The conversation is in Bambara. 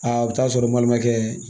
Aa bɛ taa sɔrɔ balimakɛ